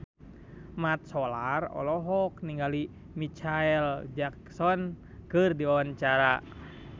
Mat Solar olohok ningali Micheal Jackson keur diwawancara